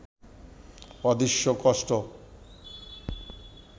অদৃশ্য কষ্ট